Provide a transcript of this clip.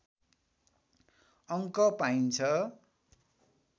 अङ्क पाइन्छ